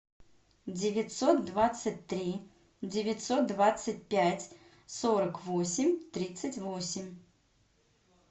девятьсот двадцать три девятьсот двадцать пять сорок восемь тридцать восемь